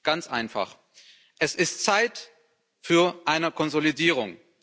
Ganz einfach es ist Zeit für eine Konsolidierung.